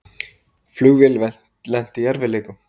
Flugvél lenti í erfiðleikum